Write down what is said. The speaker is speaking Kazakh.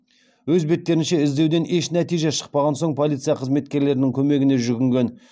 өз беттерінше іздеуден еш нәтиже шықпаған соң полиция қызметкерлерінің көмегіне жүгінген